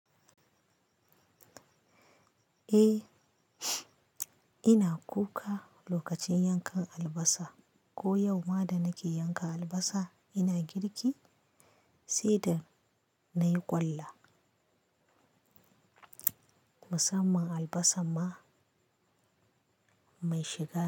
Eh, ina kuka lokacin yankan albasa. Ko yau ma da nake yanka albasa ina girki, sai da nayi ƙwallo. Musamman albasar ma, mai shiga.